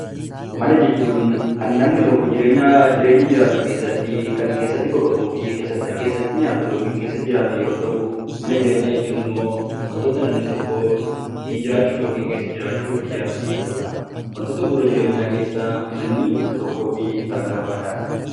Mana jechuun kan namni tokko jireenyaa jireenya jiraatu keessattii kan keessatti boqotuu fi kan keessatti nyaatu yookiin keessa jiraatu yeroo ta'u, mana jireenyaa jechuun immoo wantoota namni tokko ittiin jiraachuuf yookiin keessa jiraachuuf ijaarratu jechuu dha. Wantoota bu'uura jireenyaa keessaa manni isa tokkoo fi isa hangafaa dha.